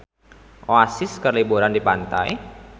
Oasis keur liburan di pantai